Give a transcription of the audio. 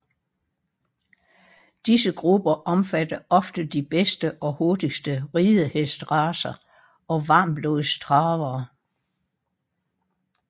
Disse grupper omfatter ofte de bedste og hurtigste ridehestracer og varmblodstravere